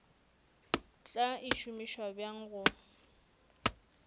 tla e šomiša bjang go